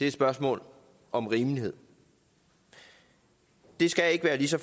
et spørgsmål om rimelighed det skal ikke være lige så